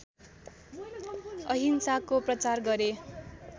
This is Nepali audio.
अहिंसाको प्रचार गरे